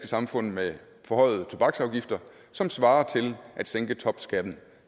samfund med forhøjede tobaksafgifter som svarer til at sænke topskatten